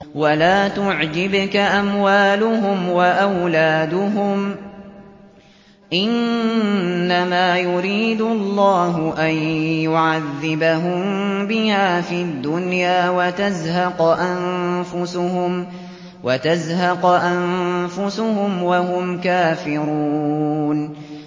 وَلَا تُعْجِبْكَ أَمْوَالُهُمْ وَأَوْلَادُهُمْ ۚ إِنَّمَا يُرِيدُ اللَّهُ أَن يُعَذِّبَهُم بِهَا فِي الدُّنْيَا وَتَزْهَقَ أَنفُسُهُمْ وَهُمْ كَافِرُونَ